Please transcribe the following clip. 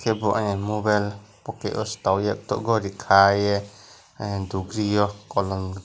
bo ayeng mobile poket o se togye tago gori kaiye ahm dopriyo kolom.